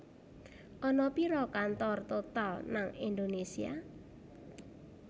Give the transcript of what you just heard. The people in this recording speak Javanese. Ana piro kantor Total nang Indonesia?